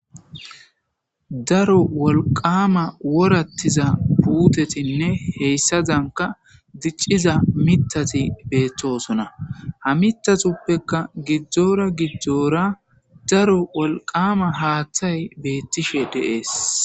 Daro wolqama woratiza putetinne hesadanka dic'za mitati betosona ha mitatupekka gidora gidora daro wolqama hatay betishe de'es.